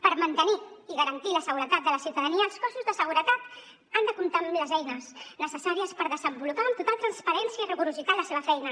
per mantenir i garantir la seguretat de la ciutadania els cossos de seguretat han de comptar amb les eines necessàries per desenvolupar amb total transparència i rigorositat la seva feina